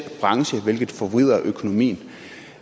branche hvilket forvrider økonomien